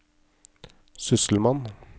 sysselmann